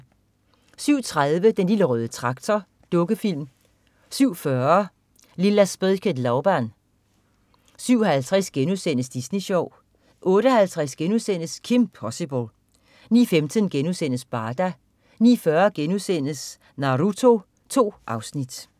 07.30 Den lille røde Traktor. Dukkefilm 07.40 Lilla spöket Laban 07.50 Disney Sjov* 08.50 Kim Possible* 09.15 Barda* 09.40 Naruto.* 2 afsnit